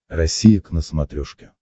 россия к на смотрешке